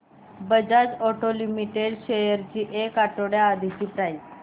Bajaj auto limited shares ची एक आठवड्या आधीची प्राइस